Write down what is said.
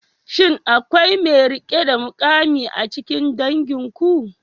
Shin akwai mai rike da mukami a cikin danginku?